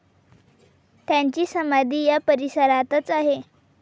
त्यांची समाधी या परिसरातच आहे.